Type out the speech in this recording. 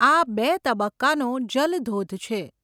આ બે તબક્કાનો જલધોધ છે.